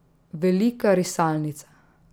Velika risalnica.